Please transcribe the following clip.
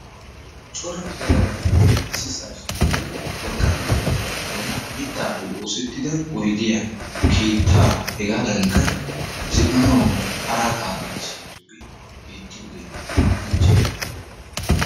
Cora yelaga naati issisaa shiiqqidi wolqqaama keettaa giddon miittaappe osettida oydiyaa keettaa hegaadinkka zin"anawu aaraataa giigisidoogee beettiyoogee qoncce.